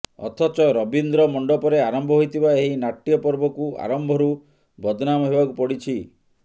ଅଥଚ ରବୀନ୍ଦ୍ର ମଣ୍ଡପରେ ଆରମ୍ଭ ହୋଇଥିବା ଏହି ନାଟ୍ୟ ପର୍ବକୁ ଆରମ୍ଭରୁ ବଦ୍ନାମ ହେବାକୁ ପଡ଼ିଛି